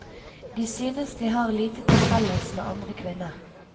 De synes de har lite til felles med andre kvinner.